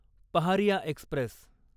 Paharia Express